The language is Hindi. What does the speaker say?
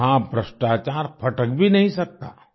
वहाँ भ्रष्टाचार फटक भी नहीं सकता